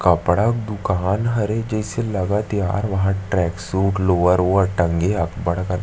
कपडा का दुकान हरे जैसे लागत थे यार यहाँ ट्रैक सूट लोअर ओवर टंगे हे अबड़ अकन--